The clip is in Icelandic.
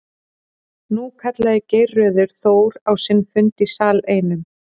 Nú kallaði Geirröður Þór á sinn fund í sal einum.